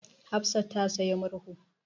Hafsa ta sayi murhu.